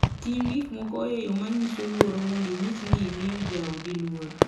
Tim gik moko e yo manyiso luor mondo inyis ni imiyo jaodi luor.